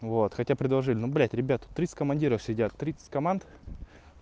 вот хотя бы предложили ну блять ребята тридцать командиров сидят тридцать команд